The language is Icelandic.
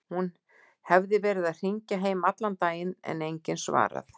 Hún hefði verið að hringja heim allan daginn en enginn svarað.